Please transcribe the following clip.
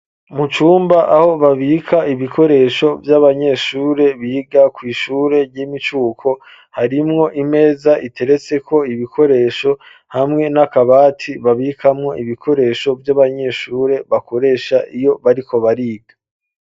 Mu cumba aho babika ibikoresho vy'abanyeshure biga kw'ishure ry'imicuko harimwo imeza iteretseko ibikoresho hamwe n'akabati babikamwo ibikoresho vy'abanyeshure bakoresha iyo bariko bariga.